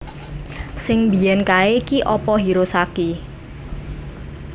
Sing mbiyen kae ki opo Hirosaki